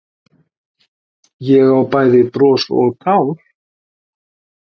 Ég á bæði bros og tár